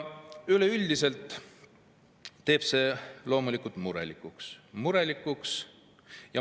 See teeb loomulikult murelikuks.